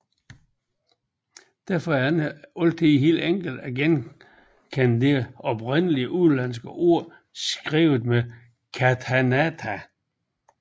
Derfor er det ikke altid helt enkelt at genkende et oprindelig udenlandsk ord skrevet med katakana